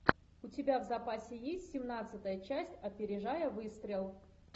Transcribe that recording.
у тебя в запасе есть семнадцатая часть опережая выстрел